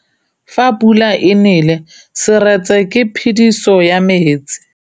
Fa pula e nelê serêtsê ke phêdisô ya metsi.